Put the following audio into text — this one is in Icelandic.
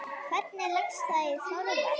Hvernig leggst það í Þorvald?